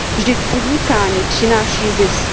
Vždyť podnikání přináší zisk.